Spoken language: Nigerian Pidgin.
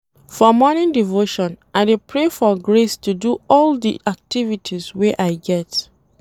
For morning devotion I dey pray for grace to do all di activities wey I get.